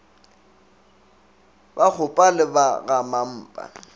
ba gakgopa le ba gamampa